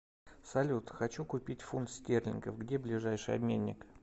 салют хочу купить фунт стерлингов где ближайший обменник